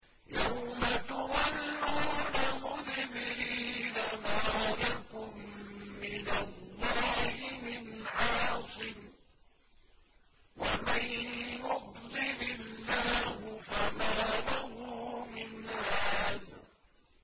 يَوْمَ تُوَلُّونَ مُدْبِرِينَ مَا لَكُم مِّنَ اللَّهِ مِنْ عَاصِمٍ ۗ وَمَن يُضْلِلِ اللَّهُ فَمَا لَهُ مِنْ هَادٍ